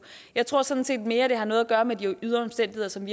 jeg tror sådan set det mere har noget at gøre med de ydre omstændigheder som